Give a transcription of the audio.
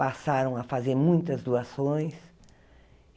Passaram a fazer muitas doações.